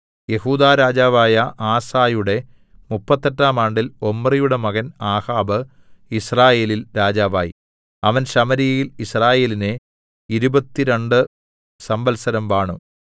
യെഹൂദാ രാജാവായ ആസയുടെ മുപ്പത്തെട്ടാം ആണ്ടിൽ ഒമ്രിയുടെ മകൻ ആഹാബ് യിസ്രായേലിൽ രാജാവായി അവൻ ശമര്യയിൽ യിസ്രായേലിനെ ഇരുപത്തുരണ്ട് സംവത്സരം വാണു